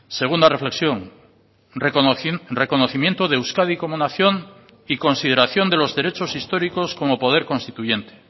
segunda reflexión reconocimiento de euskadi como nación y consideración de los derechos históricos como poder constituyente